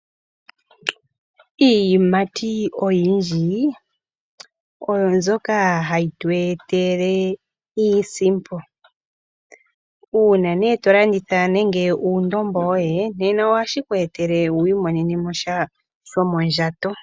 Iiyimati oyindji oyo mbyoka hayi tu etele iisimpo uuna ihe to landitha nande uundombo woye nena ohashi ku etele opo wu imonenemo shomondjato.